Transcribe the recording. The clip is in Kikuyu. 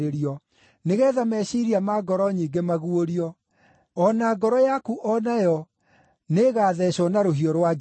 nĩgeetha meciiria ma ngoro nyingĩ maguũrio. O na ngoro yaku o nayo nĩĩgatheecwo na rũhiũ rwa njora.”